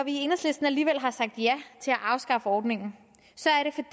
i enhedslisten alligevel har sagt ja til at afskaffe ordningen